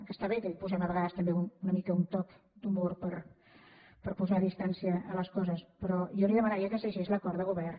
que està bé que hi posem a vegades també una mica un toc d’humor per posar distància amb les coses però jo li demanaria que es llegís l’acord de govern